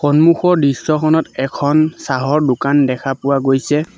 সন্মুখৰ দৃশ্যখনত এখন চাহৰ দোকান দেখা পোৱা গৈছে।